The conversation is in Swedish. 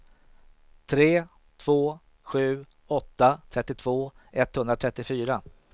tre två sju åtta trettiotvå etthundratrettiofyra